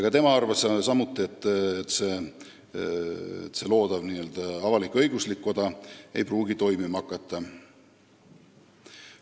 Ka tema arvas, et loodav n-ö avalik-õiguslik koda ei pruugi toimima hakata.